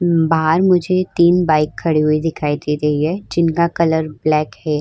बाहर मुझे तीन बाइक खड़ी हुई दिखाई दे रही है जिनका कलर ब्लैक है।